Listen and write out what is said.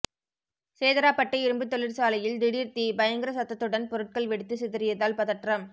சேதராப்பட்டு இரும்பு தொழிற்சாலையில் திடீர் தீ பயங்கர சத்தத்துடன் பொருட்கள் வெடித்து சிதறியதால் பதற்றம்